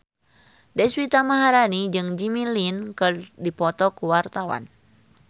Deswita Maharani jeung Jimmy Lin keur dipoto ku wartawan